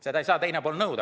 Seda ei saa teine pool nõuda.